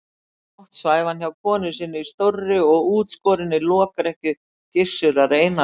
Í nótt svæfi hann hjá konu sinni í stórri og útskorinni lokrekkju Gizurar Einarssonar.